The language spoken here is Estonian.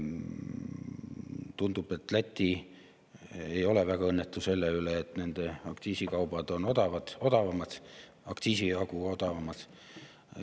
Tundub, et Läti ei ole väga õnnetu selle pärast, et nende aktsiisikaubad on aktsiisi jagu odavamad.